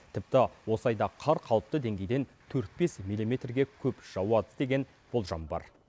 тіпті осы айда қар қалыпты деңгейден төрт бес милиметрге көп жауады деген болжам бар